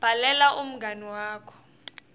bhalela umngani wakho